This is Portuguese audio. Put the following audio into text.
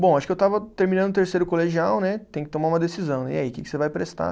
Bom, acho que eu estava terminando o terceiro colegial né, tem que tomar uma decisão, e aí, o que que você vai prestar?